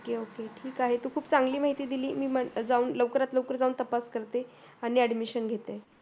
ok ok ठीक आहे तू खूप चांगली माहिती दिली मी जाऊन लवकरात लवकर जाऊन तपास करते आणि admission घेते